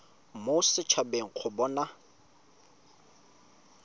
mo set habeng go bona